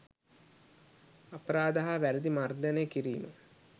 අපරාධ හා වැරැදි මර්දනය කිරීම